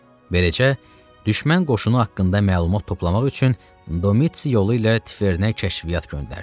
Beləcə, düşmən qoşunu haqqında məlumat toplamaq üçün Domits yolu ilə Tifernə kəşfiyyat göndərdi.